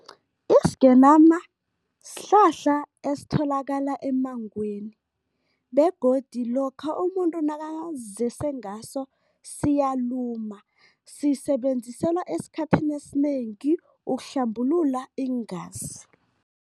Isigenama sihlahla esitholakala emmangweni begodu lokha umuntu nakazizese ngaso siyaluma. Sisebenziselwa esikhathini esinengi ukuhlambulula iingazi.